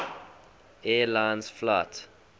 air lines flight